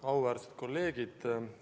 Auväärsed kolleegid!